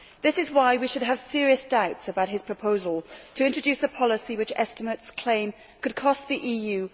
This is why we should have serious doubts about his proposal to introduce a policy which, it is estimated, could cost the EU